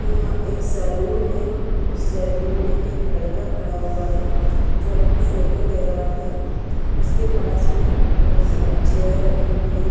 यहाँ एक सैलून है उस सैलून मे एक लड़का खड़ा हुआ है जो अपनी फोटो ले रहा है उसके पास मे बहुत सारी चेयर रखी हुई हैं ।